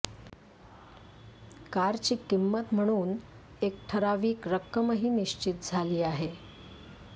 कारची किंमत म्हणून एक ठरावीक रक्कमही निश्चित झाली आहे